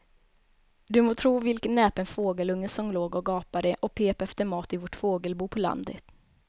Du må tro vilken näpen fågelunge som låg och gapade och pep efter mat i vårt fågelbo på landet.